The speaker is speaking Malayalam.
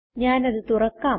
ഞാനത് തുറക്കാം